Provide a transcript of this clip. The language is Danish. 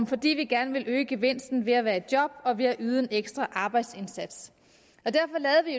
fordi vi gerne ville øge gevinsten ved at være i job og ved at yde en ekstra arbejdsindsats derfor